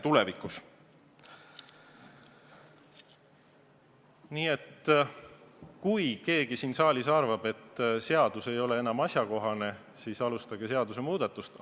Kui keegi siin saalis arvab, et see seadus ei ole enam asjakohane, siis alustage seadusemuudatust.